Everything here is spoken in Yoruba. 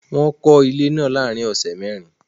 Wọ́n kọ́ ilé náà láàárín ọ̀sẹ̀ mẹ́rin